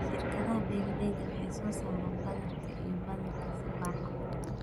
Shirkadaha beeralayda waxay soo saaraan badarka iyo badarka si baaxad leh.